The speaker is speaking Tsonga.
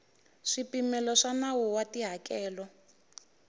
swipimelo swa nawu wa tihakelo